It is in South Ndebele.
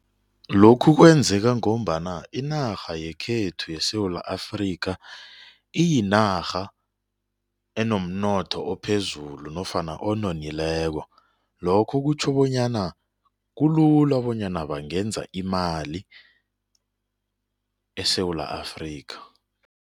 Lokhu kwenzeka ngombana inarha yekhethu yeSewula Afrika iyinarha enomnotho ophezulu nofana ononileko lokho kutjho bonyana kulula bonyana bangenza imali eSewula Afrika.